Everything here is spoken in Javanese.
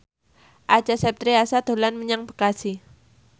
Acha Septriasa dolan menyang Bekasi